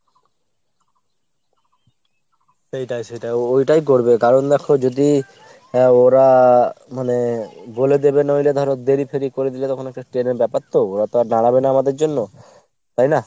সেইটাই সেইটাই। ওইটাই করবে কারণ দ্যাখো যদি ওরা মানে বলে দেবে নইলে ধরো দেরি ফেরি করে দিলে তখন একটা train এর ব্যাপার তো ওরা তো আর দাঁড়াবে না আমাদের জন্য, তাই না ?